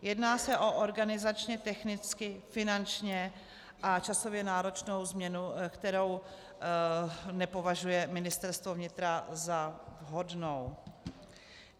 Jedná se o organizačně technicky, finančně a časově náročnou změnu, kterou nepovažuje Ministerstvo vnitra za vhodnou.